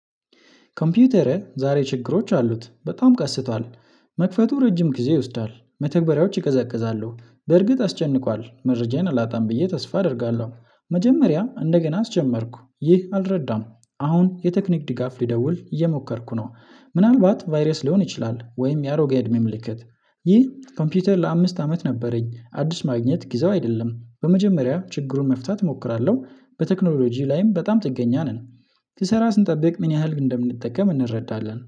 ኮምፒውተሬ ዛሬ ችግሮች አሉት በጣም ቀስቷል። መክፈቱ እረጅም ጊዜ ይወስዳል መተግበሪያዎች ይቀዘቅዛሉ በርግጥ አስጨንቋል መረጃዬን አላጣም ብዬ ተስፋ አደርጋለሁ። መጀመሪያ እንደገና አስጀመርኩ ይህ አልረዳም። አሁን የቴክኒክ ድጋፍ ሊደውል እየሞከርኩ ነው። ምናልባት ቫይረስ ሊሆን ይችላል ወይም ያሮገ እድሜ ምልክት። ይህ ኮምፒውተር ለአምስት አመት ነበረኝ አዲስ ማግኘት ጊዜው አይደለም። በመጀመሪያ ችግሩን መፍታት እሞክራለሁ በቴክኖሎጂ ላይም በጣም ጥገኛ ነን። ልሰራ ስንጠብቅ ምን ያህል እንደምንጠቀም እንረዳለን